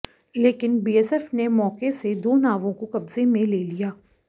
लेकिन बीएसएफ ने मौके से दो नावों को कब्जे में ले लिया